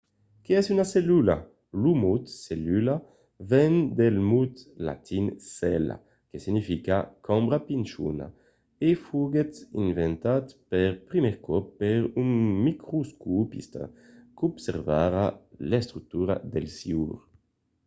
qué es una cellula? lo mot cellula ven del mot latin cella que significa cambra pichona e foguèt inventat per primièr còp per un microscopista qu'observava l'estructura del siure